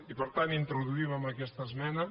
i per tant introduïm amb aquesta esmena